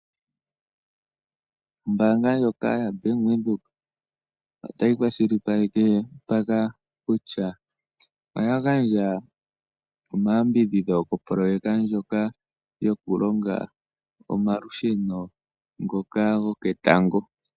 Ombaanga yaBank Windhoek otayi kwashilipaleke kutya oya li ya gandja omayambidhidho kopoloweka yi na sha nokulonga nomalusheno goketango.